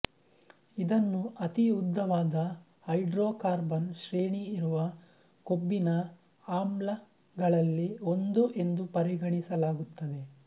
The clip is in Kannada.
ಇದನ್ನು ಅತಿ ಉದ್ದವಾದ ಹೈಡ್ರೋಕಾರ್ಬನ್ ಶ್ರೇಣಿ ಇರುವ ಕೊಬ್ಬಿನ ಆಮ್ಲಗಳಲ್ಲಿ ಒಂದು ಎಂದು ಪರಿಗಣಿಸಲಾಗುತ್ತದೆ